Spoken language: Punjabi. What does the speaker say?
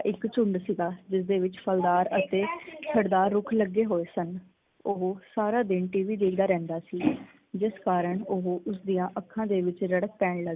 ਇਕ ਝੁੰਡ ਸੀ ਗਾ ਜਿਸ ਦੇ ਵਿਚ ਫਲਦਾਰ ਅਤੇ ਖੜਦਾਰ ਰੁੱਖ ਲੱਗੇ ਹੋਏ ਸਨ। ਉਹ ਸਾਰਾ ਦਿਨ ਟੀਵੀ ਦੇਖਦਾ ਰਹਿੰਦਾ ਸੀ ਜਿਸ ਕਾਰਨ ਉਹ ਉਸਦੀਆ ਅੱਖਾਂ ਦੇ ਵਿਚ ਰੜਕ ਪੈਣ ਲੱਗ ਪਈ